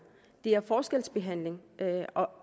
det er forskelsbehandling